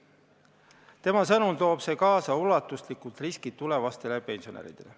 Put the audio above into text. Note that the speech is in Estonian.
Tema sõnul toob see kaasa ulatuslikud riskid tulevastele pensionäridele.